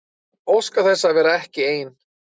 Óskar þess að vera ekki ein.